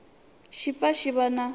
xi pfa xi va na